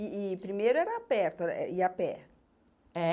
E e primeiro era perto, eh ir a pé? É